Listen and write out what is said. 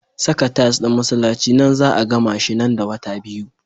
Saka tiles ɗin masallaci nan za 'a gamashi nan da wata biyu.